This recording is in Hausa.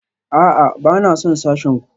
A'a, ba na son sashen ku